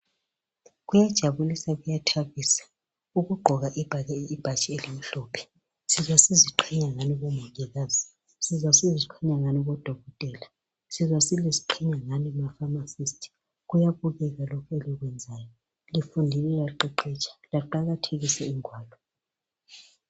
Kuyajabulisa kuyathabisa ukugqoka ibhatshi elimhlophe. Sizwa siziqhenya ngani bomongikazi. Sizwa siziqhenya ngani bodokotela. Sizwa siziqhenya ngani mafamasisti. Kuyabukeka lokhu elikwenzayo. Lifundile laqeqetsha, laqakathekisa ingwalo.